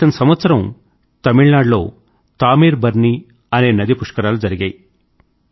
క్రితం సంవత్సరం తమిళనాడు లో తామీర్ బర్నీ అనే నది పుష్కరాలు జరిగాయి